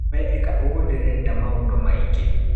We ĩka ũguo ndirenda maũndũ maingĩ.